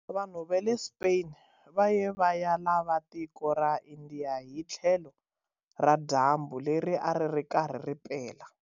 Vanhu va le Spain va ye va ya lava tiko ra India hi tlhelo ra dyambu leri a ri ri karhi ri pela.